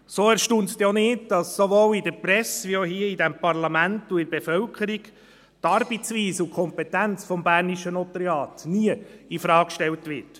So erstaunt es denn nicht, dass sowohl in der Presse als auch hier in diesem Parlament und in der Bevölkerung die Arbeitsweise und die Kompetenz des bernischen Notariats nie infrage gestellt werden.